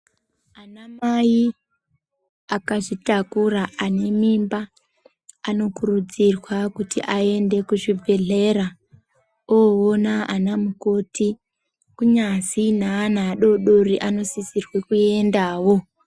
Anamai akazvitakura , ane mimba anokurudzirwa kuti aende kuzvibhedhlera voona anamukoti. Kunyazi neana adodori anosisirwe kuendawo.